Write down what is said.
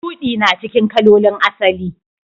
Shudi na cikin kalolin asali.